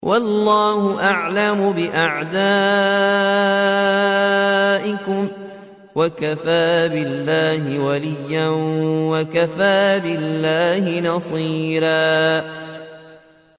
وَاللَّهُ أَعْلَمُ بِأَعْدَائِكُمْ ۚ وَكَفَىٰ بِاللَّهِ وَلِيًّا وَكَفَىٰ بِاللَّهِ نَصِيرًا